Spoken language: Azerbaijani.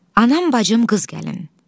Aman bacım qız gəlin.